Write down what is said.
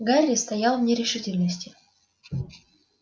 гарри стоял в нерешительности